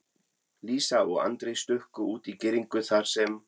Lísa og Andri stukku út í girðingu þar sem